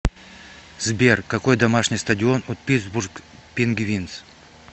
сбер какой домашний стадион у питтсбург пингвинз